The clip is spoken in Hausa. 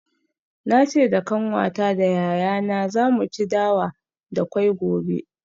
Na ce da kanwata da yayana za mu ci dawa da kwai gobe.